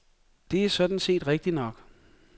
Det er sådan set rigtig nok.